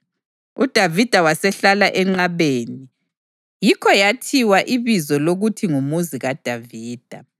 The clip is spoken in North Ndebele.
UDavida wasehlala enqabeni, yikho yathiwa ibizo lokuthi nguMuzi kaDavida.